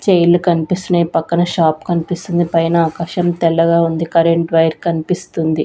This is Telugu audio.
చైర్ లు కన్పిస్తున్నాయి పక్కన షాప్ కన్పిస్తుంది పైన ఆకాశం తెల్లగా ఉంది కరెంట్ వైర్ కన్పిస్తుంది.